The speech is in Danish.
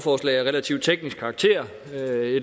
det er